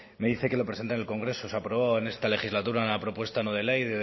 me dice que lo presente en el congreso se aprobó en esta legislatura una propuesta no de ley